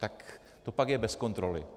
Tak to pak je bez kontroly.